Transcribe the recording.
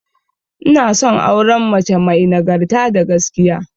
Ina son auren mace may nagarta da gaskiya